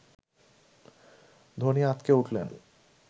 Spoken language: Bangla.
ধোনি আঁতকে উঠলেন